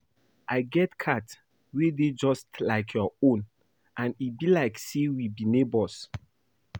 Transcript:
I get cat wey dey just like your own and e be like say we be neighbours